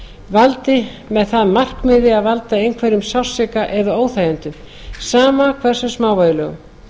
valdi með það að markmiði að valda einhverjum sársauka eða óþægindum sama hversu smávægilegum